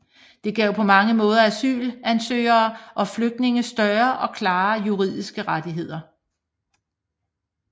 Den gav på mange måder asylansøgere og flygtninge større og klarere juridiske rettigheder